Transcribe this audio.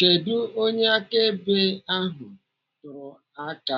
Kedụ onye akaebe ahụ tụrụ aka